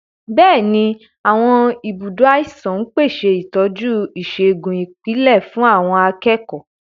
Bẹ́ẹ̀ni, àwọn ibùdó àìsàn ń pèsè ìtọ́jú ìṣègùn ìpìlẹ̀ fún àwọn akẹ́kọ̀ọ́.